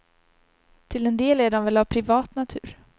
Till en del är de väl av privat natur.